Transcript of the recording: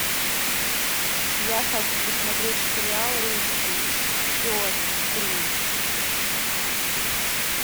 я хочу посмотреть сериал русский пес три